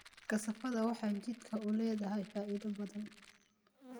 Kasaafada waxay jidhka u leedahay faa'iidooyin badan